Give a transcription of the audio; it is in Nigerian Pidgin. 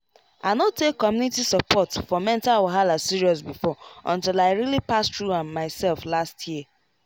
i no take community support for mental wahala serious before until i really pass through am myself last year